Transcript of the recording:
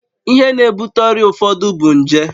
Ihe na-ebute ọrịa ụfọdụ bụ nje